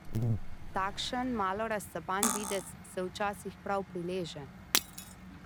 Takšen malo razcapan videz se včasih prav prileže.